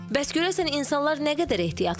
Bəs görəsən insanlar nə qədər ehtiyatlıdır?